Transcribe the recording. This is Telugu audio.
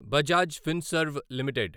బజాజ్ ఫిన్సర్వ్ లిమిటెడ్